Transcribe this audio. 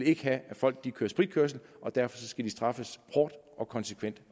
ikke have at folk kører spritkørsel og derfor skal de straffes hårdt og konsekvent